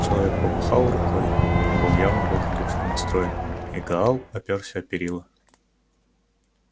человек помахал рукой он был явно благодушно настроен и гаал оперся о перила